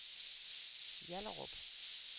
Hjallerup